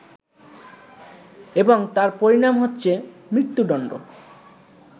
এবং তার পরিণাম হচ্ছে মৃত্যুদণ্ড